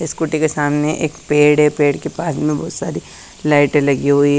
scooty के सामने एक पेड़ है पेड़ के पास में बहोत सारी लाइटें लगी हुई--